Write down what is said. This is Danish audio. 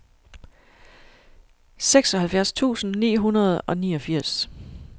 seksoghalvfjerds tusind ni hundrede og niogfirs